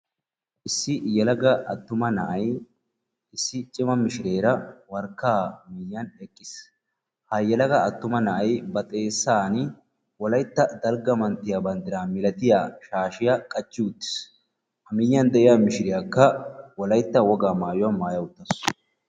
Issi yelaga attuma na'ay issi cima mishireera warkkaa miiyyiyan eqqiis. Ha yelaga attuma na'ay ba xeessaan wolaytta dalgga manttiya banddiraa milatiya shaashiya qachchi uttiis. Ha miiyyiyan de'iya mishiriyakka wolaytta wogaa maayuwa maaya uttaasu.